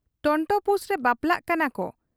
ᱴᱚᱱᱴᱚᱯᱩᱥᱨᱮ ᱵᱟᱯᱞᱟᱜ ᱠᱟᱱᱟᱠᱚ ᱾